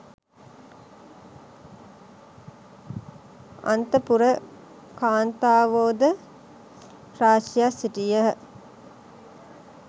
අන්තපුර කාන්තාවෝ ද රාශියක් සිටියහ